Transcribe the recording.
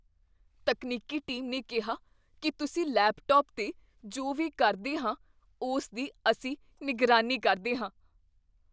ਤਕਨੀਕੀ ਟੀਮ ਨੇ ਕਿਹਾ ਕੀ ਤੁਸੀਂ ਲੈਪਟਾਪ 'ਤੇ ਜੋ ਵੀ ਕਰਦੇ ਹਾਂ ਉਸ ਦੀ ਅਸੀਂ ਨਿਗਰਾਨੀ ਕਰਦੇ ਹਾਂ।